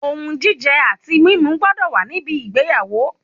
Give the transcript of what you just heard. Ohun jíjẹ àti mímu gbọ́dọ̀ wa níbi ìgbéyàwó